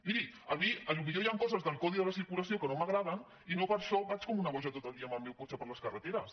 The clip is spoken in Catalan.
miri a mi potser hi han coses del codi de la circulació que no m’agraden i no per això vaig com una boja tot el dia amb el meu cotxe per les carreteres